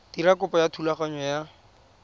dira kopo ya thulaganyo ya